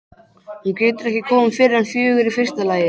Hún getur ekki komið fyrr en fjögur í fyrsta lagi.